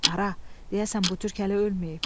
Ara, deyəsən bu türk hələ ölməyib.